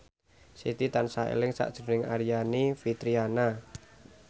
Siti tansah eling sakjroning Aryani Fitriana